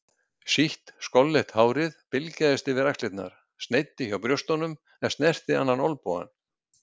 Sítt skolleitt hárið bylgjaðist yfir axlirnar, sneiddi hjá brjóstunum en snerti annan olnbogann.